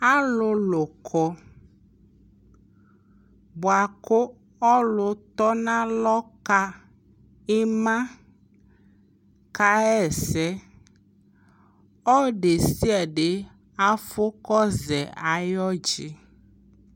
alʋlʋ kɔ bʋakʋ ɔlʋ tɔnʋ alɔ ka ima kayɛsɛ, ɔdɛsiadɛ aƒɔ kɔzɛ ayi ɔgyi